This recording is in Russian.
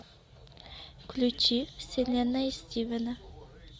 включи вселенная стивена